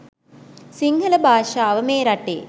සිංහල භාෂාව මේ රටේ